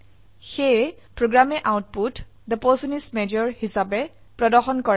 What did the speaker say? সেয়ে প্ৰোগ্ৰামে আউটপুট থে পাৰ্চন ইচ মাজৰ হিসাবে প্ৰদৰ্শন কৰে